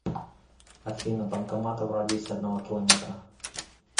афина банкоматы в радиусе одного километра